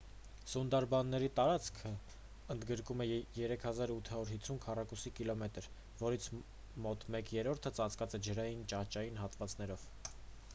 սունդարբանների տարածքն ընդգրկում է 3 850 քառ. կմ որից մոտ մեկ երրորդը ծածկված է ջրային/ճահճային հատվածներով: